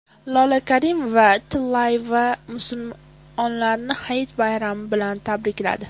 Lola Karimova-Tillayeva musulmonlarni Hayit bayrami bilan tabrikladi.